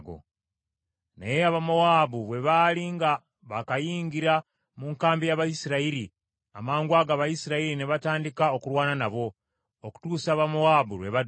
Naye Abamowaabu bwe baali nga baakayingira mu nkambi y’Abayisirayiri, amangwago Abayisirayiri ne batandika okulwana nabo, okutuusa Abamowaabu lwe badduka.